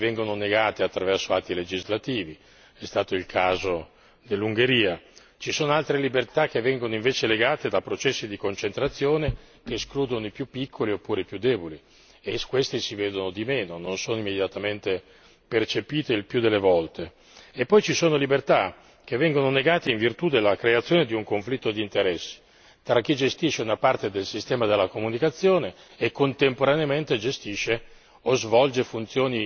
Ci sono libertà che vengono negate attraverso atti legislativi è stato il caso dell'Ungheria ci sono altre libertà che vengono invece negate da processi di concentrazione che escludono i più piccoli oppure i più deboli e questi si vedono di meno, non sono immediatamente recepiti, il più delle volte e poi ci sono libertà che vengono negate in virtù della creazione di un conflitto di interessi tra chi gestisce una parte del sistema della comunicazione e contemporaneamente gestisce